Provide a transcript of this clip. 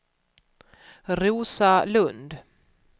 Rosa Lund